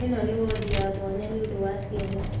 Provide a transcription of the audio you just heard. Ĩno nĩ wondi ya mwanya nĩũndũ wa ciana